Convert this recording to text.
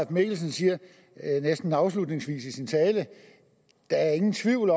mikkelsen siger næsten afslutningsvis i sin tale at der ingen tvivl